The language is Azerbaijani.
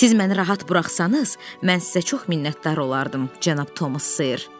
Siz məni rahat buraxsanız, mən sizə çox minnətdar olardım, cənab Thomas Sayer.